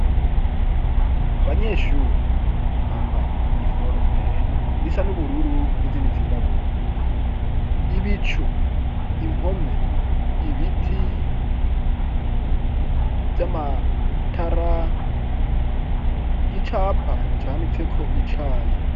Abanyeshuri bambaye iniforme zisa n'ubururu n'izindi zirabura ibicu impome ibiti vy'amatara igicapa canditse ko icayi.